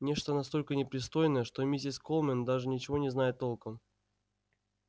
нечто настолько непристойное что миссис колмен даже ничего не знает толком